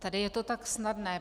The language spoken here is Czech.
Tady je to tak snadné.